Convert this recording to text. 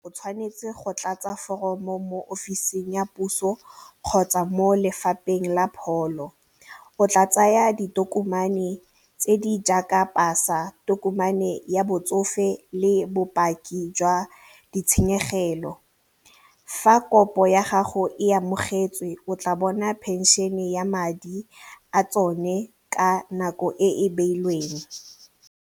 O tshwanetse go tlatsa foromo mo ofising ya puso kgotsa mo lefapheng la pholo o tla tsaya ditokomane tse di jaaka pasa, tokomane ya botsofe le bopaki jwa ditshenyegelo. Fa kopo ya gago e amogetswe o tla bona pension-e ya madi a tsone ka nako e e beilweng.